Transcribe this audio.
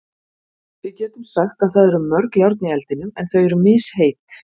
Við getum sagt að það eru mörg járn í eldinum en þau eru misheit.